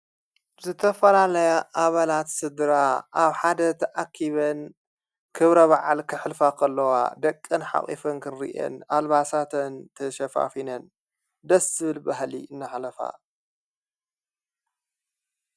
ዝተፈላለያ ኣበላት ሥድራ ኣብ ሓደ ተኣኪበን ክብረ ባዓል ክሕልፋ ኸለዋ ደቀን ሓቝፉን ክንርእን ኣልባሳተን ተሸፋፊነን ደስብል ባህሊ እናሕለፋ።